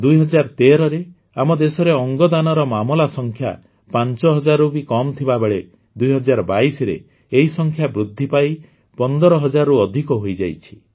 ୨୦୧୩ରେ ଆମ ଦେଶରେ ଅଙ୍ଗଦାନର ମାମଲା ସଂଖ୍ୟା ୫ ହଜାରରୁ ବି କମ ଥିବାବେଳେ ୨୦୨୨ରେ ଏହି ସଂଖ୍ୟା ବୃଦ୍ଧି ପାଇ ୧୫ ହଜାରରୁ ଅଧିକ ହୋଇଯାଇଛି